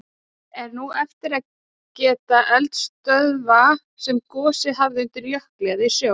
Er nú eftir að geta eldstöðva sem gosið hafa undir jökli eða í sjó.